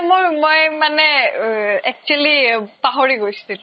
মোৰ মই মানে অ actually অ পাহৰি গৈছিলো